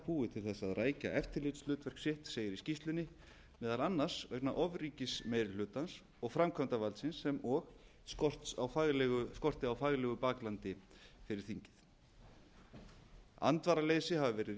búið til þess að rækja eftirlitshlutverk sitt segir í skýrslunni meðal annars vegna ofríkis meiri hlutans og framkvæmdarvaldsins og skorti á faglegu baklandi fyrir þingið andvaraleysi hafa verið